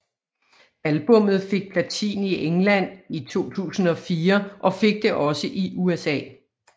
Albummet fik platin i England i 2004 og fik det også i USA